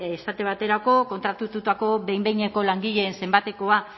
esate baterako kontratatutako behin behineko langileen zenbatekoa